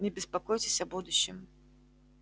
не беспокойтесь о будущем